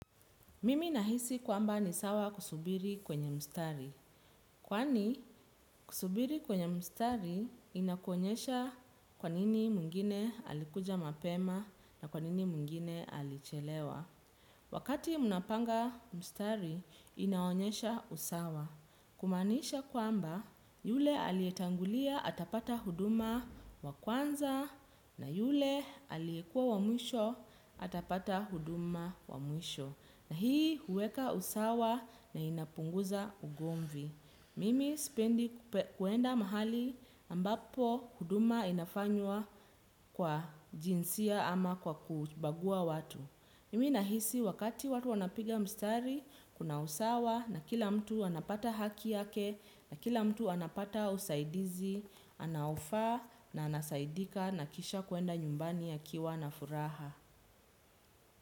Mimi nahisi kwamba ni sawa kusubiri kwenye mstari. Kwani kusubiri kwenye mstari inakuonyesha kwanini mwingine alikuja mapema na kwanini mwingine alichelewa. Wakati mnapanga mstari inaonyesha usawa. Kumaanisha kwamba yule aliyetangulia atapata huduma wa kwanza na yule aliyekua wamwisho atapata huduma wamwisho. Na hii uweka usawa na inapunguza ugomvi. Mimi sipendi kuenda mahali ambapo huduma inafanywa kwa jinsia ama kwa kubagua watu. Mimi nahisi wakati watu wanapiga mstari, kuna usawa na kila mtu anapata haki yake na kila mtu anapata usaidizi, anaofaa na anasaidika na kisha kwenda nyumbani a kiwa na furaha.